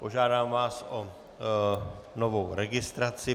Požádám vás o novou registraci.